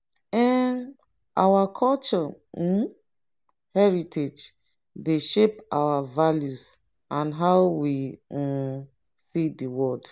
um our cultural um heritage dey shape our values and how we um see di world.